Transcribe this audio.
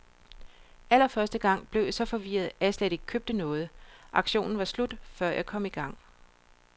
Allerførste gang blev jeg så forvirret, at jeg slet ikke købte noget, auktionen var slut før jeg kom i gang.